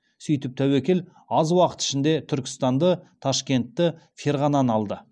сөйтіп тәуекел аз уақыт ішінде түркістанды ташкентті ферғананы алды